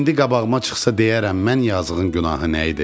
İndi qabağıma çıxsa deyərəm mən yazıqın günahı nə idi?